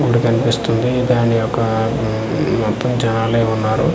గుడి కనిపిస్తుంది దాని యొక్క ఉమ్ మొత్తం జనాలే ఉన్నారు.